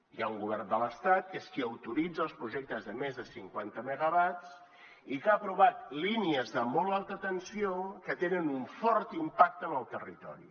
hi ha un govern de l’estat que és qui autoritza els projectes de més de cinquanta megawatts i que ha aprovat línies de molt alta tensió que tenen un fort impacte en el territori